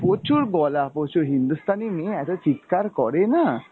প্রচুর গলা প্রচুর, হিন্দুস্তানি মেয়ে এত চিৎকার করে না।